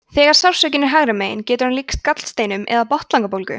þegar sársaukinn er hægra megin getur hann líkst gallsteinum eða botnlangabólgu